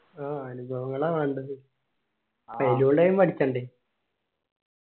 ആ അനുഭവങ്ങളാ വേണ്ടത് പഠിക്കണ്ടേ